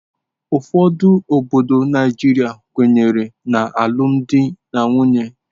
Ụfọdụ obodo Naijiria kwenyere na alụmdi na nwunye.